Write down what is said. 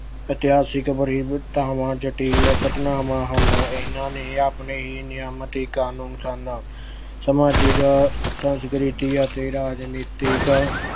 ਇਤਿਹਾਸਿਕ ਜਟਿਲ ਘਟਨਾਵਾਂ ਹਨ। ਇਹਨਾਂ ਦੇ ਆਪਣੇ ਹੀ ਨਿਯਮਤ ਕਾਨੂੰਨ ਸਨ। ਸਮਾਜਿਕ ਸੰਸਕ੍ਰਿਤੀ ਅਤੇ ਰਾਜਨੀਤਿਕ